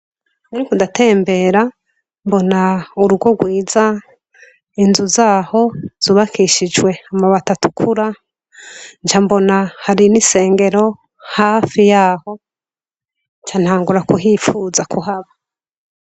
Murikudatembera mbona urugo rwiza inzu zaho zubakishijwe amabatatukura ja mbona hari n'isengero hafi yaho cantangura kuhipfuza kuhaba.